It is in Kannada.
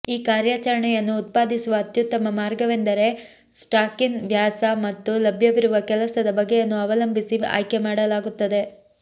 ಈ ಕಾರ್ಯಾಚರಣೆಯನ್ನು ಉತ್ಪಾದಿಸುವ ಅತ್ಯುತ್ತಮ ಮಾರ್ಗವೆಂದರೆ ಸ್ಟಾಕಿನ ವ್ಯಾಸ ಮತ್ತು ಲಭ್ಯವಿರುವ ಕೆಲಸದ ಬಗೆಯನ್ನು ಅವಲಂಬಿಸಿ ಆಯ್ಕೆಮಾಡಲಾಗುತ್ತದೆ